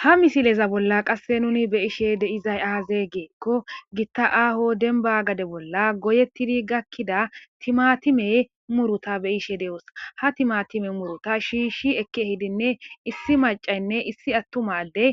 Ha misileza bolla qasse nuni be ishe de izay aaze geekko gitta aaho denbagade bolla goyettidi gakkida timatimey muruta be ishe de'oos ha timatime muruta shiishi ekki hidinne issi macaynne issi attumadey